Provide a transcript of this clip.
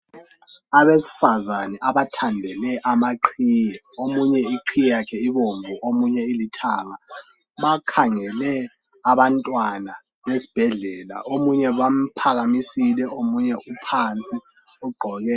Abesifazane abathandele amaqhiyi omunye iqhiyi yakhe ibomvu omunye ilithanga bakhangele abantwana esibhedlela omunye bamphakamisile omunye uphansi Uqgoke